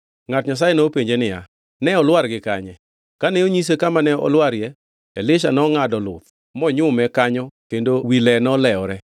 Ngʼat Nyasaye nopenje niya, Ne olwar gi kanye? Kane onyise kama ne olwarie, Elisha nongʼado luth, monyume kanyo kendo wi le nolewore.